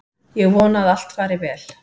Ég vona að allt fari vel.